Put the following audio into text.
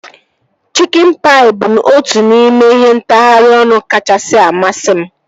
Chikin paị bụ otu n'ime ihe ntagharị ọnụ kachasị amasị m